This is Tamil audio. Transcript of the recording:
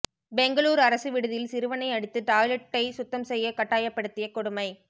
பெங்களூர் அரசு விடுதியில் சிறுவனை அடித்து டாய்லெட்டை சுத்தம் செய்ய கட்டாயப்படுத்திய கொடுமை